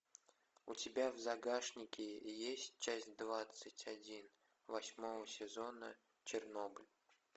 у тебя в загашнике есть часть двадцать один восьмого сезона чернобыль